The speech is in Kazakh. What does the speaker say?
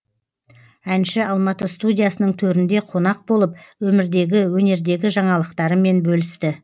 әнші алматы студиясының төрінде қонақ болып өмірдегі өнердегі жаңалықтарымен бөлісті